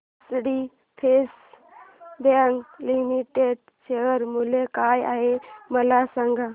HDFC bank limited share मूल्य काय आहे मला सांगा